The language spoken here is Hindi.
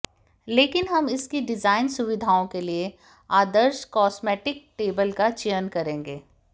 लेकिन हम इसकी डिजाइन सुविधाओं के लिए आदर्श कॉस्मेटिक टेबल का चयन करेंगे